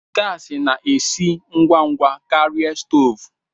Gasi na-esi ngwa ngwa karịa stoovu.